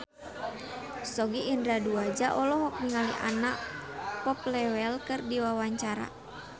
Sogi Indra Duaja olohok ningali Anna Popplewell keur diwawancara